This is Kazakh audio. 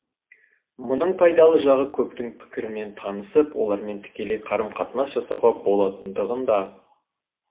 мұның пайдалы жағы көптің пікірімен танысып олармен тікелей қарым қатынас жасауға болатындығында